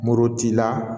Mori t'i la